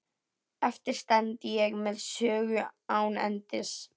Eftir stend ég með sögu án endis.